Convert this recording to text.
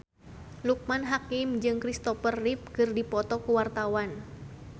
Loekman Hakim jeung Christopher Reeve keur dipoto ku wartawan